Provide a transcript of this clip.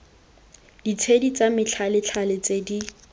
ditshedi tsa methalethale tse di